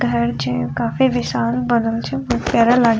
घर छै काफी विशाल बनल छै बहुत प्यारा लागे --